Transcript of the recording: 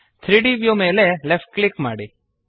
3ದ್ ವ್ಯೂ ಮೇಲೆ left click ಮಾಡಿ